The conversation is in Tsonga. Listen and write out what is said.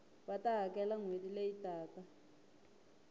va ta hakela nhweti leyi taka